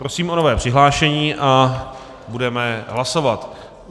Prosím o nové přihlášení a budeme hlasovat.